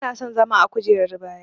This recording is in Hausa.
Bana son zama a kujerar baya.